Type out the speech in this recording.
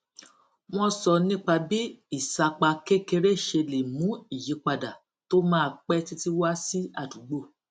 wọn sọ nípa bí ìsapá kékeré ṣe lè mú ìyípadà tó maa pẹ títí wá sí àdúgbò